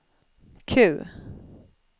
Q